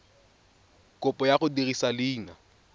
kopo ya go dirisa leina